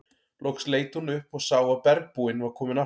Loks leit hún upp og sá að bergbúinn var kominn aftur.